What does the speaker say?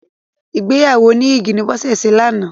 Ìgbéyàwó oníyìgì ni Bọ́sẹ̀ ṣe lánàá.